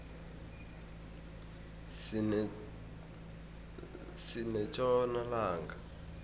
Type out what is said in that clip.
sinetjona langa